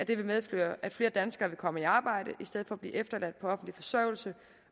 vil medføre at flere danskere vil komme i arbejde i stedet for at blive efterladt på offentlig forsørgelse